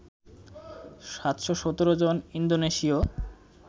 ৭১৭ জন ইন্দোনেশীয়